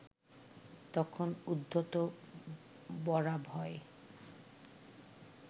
তখন উদ্ধত বরাভয়